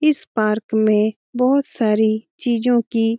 इस पार्क में बोहोत सारी चीजों की --